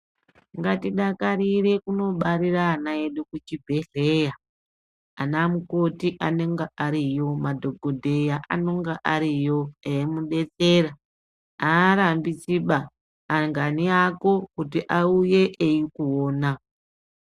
Ngatidakarire kunobarire ana edu kuchibhehleya anamukoti anonga ariyo madhokodheya anonga ariyo eimudetsera aarambidziba angaani ako kuti auye eikuona.